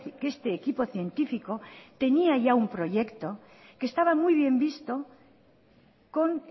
que este equipo científico tenía ya un proyecto que estaba muy bien visto con